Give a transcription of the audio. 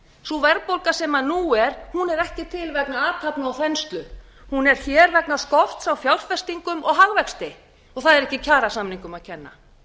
sú verðbólga sem nú er er ekki til vegna athafna og þenslu hún er hér vegna skorts á fjárfestingum og hagvexti og það er ekki kjarasamningum að kenna